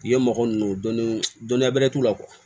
I ye mɔgɔ ninnu dɔnni dɔnniya bɛrɛ t'u la